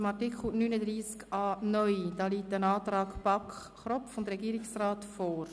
Zu Artikel 39a (neu) liegt ein Antrag BaK und Regierungsrat vor.